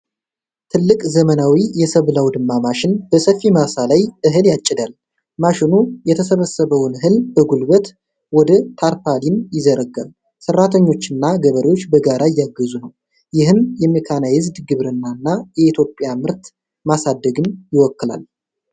ትልቅ ዘመናዊ የሰብል አውድማ ማሽን በሰፊ ማሳ ላይ እህል ያጭዳል። ማሽኑ የተሰበሰበውን እህል በጉልበት ወደ ታርፓሊን ይዘረጋል። ሰራተኞችና ገበሬዎች በጋራ እያገዙ ነው። ይህም የሜካናይዝድ ግብርናንና የኢትዮጵያ ምርት ማሳደግን ይወክላል።